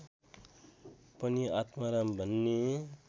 पनि आत्माराम भन्ने